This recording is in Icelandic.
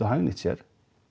hagnýtt sér